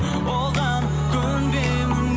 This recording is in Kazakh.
оған көнбеймін